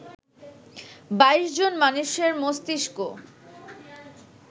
২২ জন মানুষের মস্তিষ্ক